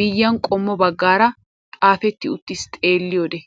miyiyaan qommo baggaara xaafetti uttiis xeelliyoode.